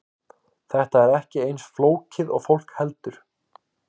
Þetta er ekki eins flókið og fólk heldur.